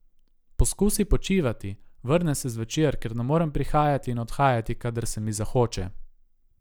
Poskusi počivati, vrnem se zvečer, ker ne morem prihajati in odhajati, kadar se mi zahoče.